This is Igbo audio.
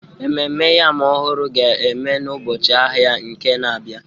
Ememme Yam ọhụrụ ga-eme n'ụbọchị ahịa Eke na-abịa